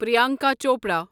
Priyanka Chopra